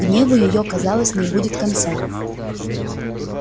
гневу её казалось не будет конца